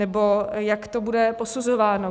Nebo jak to bude posuzováno?